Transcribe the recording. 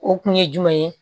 O kun ye jumɛn ye